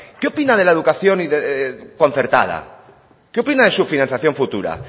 qué opina de la educación concertada qué opina de su financiación futura